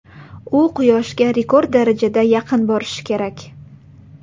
U Quyoshga rekord darajada yaqin borishi kerak.